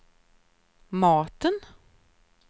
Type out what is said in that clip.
maten